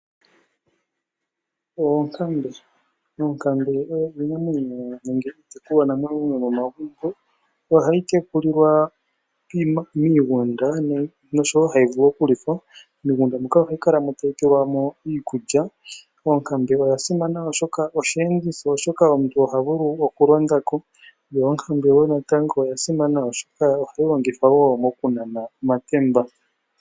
Oonkambe, oonkambe odho iinamwenyo nenge iitekulwa namwenyo yomo magumbo nohayi tekulilwa miigunda noshowo hayi vulu oku lithwa. Miigunda moka ohayi kalamo tayi pelwamo iikulya. Oonkambe odha simana oshoka ohayi longithwa onga iiyenditho molwashoka aantu ohaya vulu oku londako yo odhasimana wo oshoka ohadhi longithwa wo moku nana omatemba.